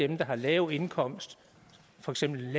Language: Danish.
dem der har lav indkomst for eksempel har